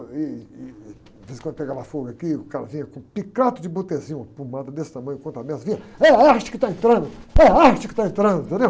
E, uh, ih, de vez em quando pegava fogo aqui, e o cara vinha com, uma pomada desse tamanho contra, é a arte que está entrando, é a arte que está entrando, entendeu?